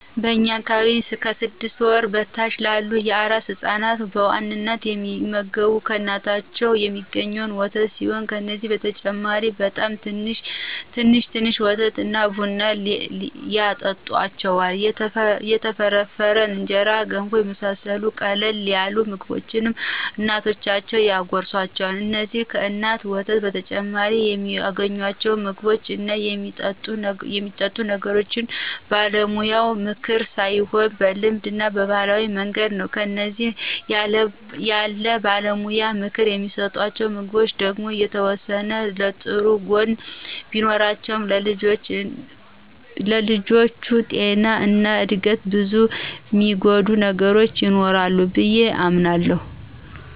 በእኛ አካባቢ ከስድስት ወር በታች ያሉ አራስ ህፃናት በዋናነት የሚመገቡ ከእናታቸው የሚአገኙትን ወተት ሲሆን ከዚህ በተጨማሪ በጣም ትንሽ ትንሽ ወተት እና ቡና ያጠጡአቸዋል፣ የተፈረፈረ እንጀራ፣ ገንፎ የመሳሰሉትን ቀለል ያሉ ምግቦችን እናቶቻቸው ያጎርሱአቸዋል። እንዚህን ከእናት ወተት በተጨማሪ የሚአገኙአቸውን ምግቦች እና የሚጠጡ ነገሮች በባለሙያ ምክር ሳይሆን በልማድ እና በባህላዊ መንገድ ነው። እነዚህ ያለባለሙያ ምክር የሚሰጡ ምግቦች ደግሞ የተወሰነ ጥሩ ጎን ቢኖራቸውም ለልጆቹ ጤና እና እድገት ብዙ የሚጎዳ ነገር ይኖረዋል ብዬ አምናለሁ።